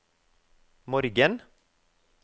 morgen